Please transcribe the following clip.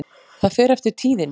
Það fer eftir tíðinni.